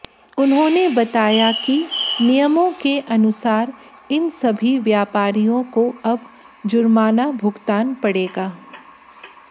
उन्होंने बताया कि नियमों के अनुसार इन सभी व्यापारियों को अब जुर्माना भुगतान पडे़गा